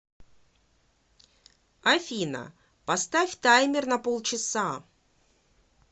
афина поставь таймер на пол часа